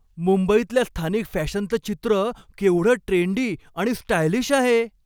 मुंबईतल्या स्थानिक फॅशनचं चित्र केवढं ट्रेंडी आणि स्टायलिश आहे!